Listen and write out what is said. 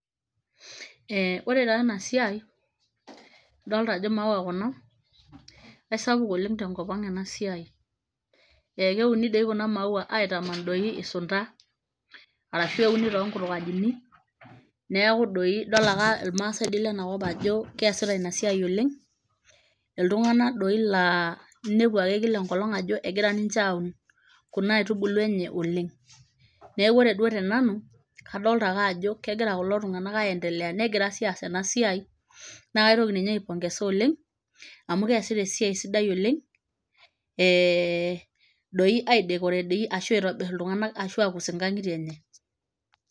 eh ore taa ena siai idolta ajo imaua kuna aisapuk oleng tenkop ang ena siai ekeuni dei kuna maua aitaman doi isunta arashu euni tonkutuk ajini neeku doi idol ake ilmaasae doi lenakop ajo keesita ina siai oleng iltung'anak doi laa inepu ake kila enkolong ajo egira ninche aun kuna aitubulu enye oleng neeku ore duo tenanu kadolta ake ajo kegira kulo tung'anak aendelea negira sii aas ena siai naa kaitoki ninye ae pongeza oleng amu keesita esiai sidai oleng eh doi ae decorate dei ashu aitobirr iltung'anak ashu akus inkang'itie enye.